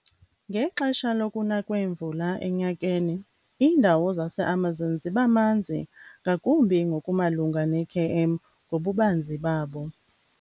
Ngexesha lokuna kweemvula enyakeni, indawo zaseAmazon zibamanzi ngakumbi ngokumalunga nekm ngobubanzi babo.